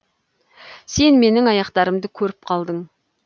сен менің аяқтарымды көріп қалдың